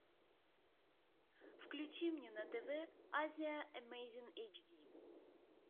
включи мне на тв азия эмейзинг эйчди